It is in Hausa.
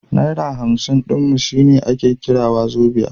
Naira hamsin ɗin mu shine ake kira wazobia.